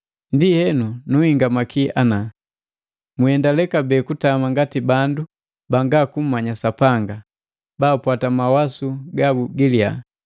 Ndienu, nunhingamaki ana: Mwiiendale kabee kutama ngati bandu banga kummanya Sapanga, baapwata mawasu gabu giliya,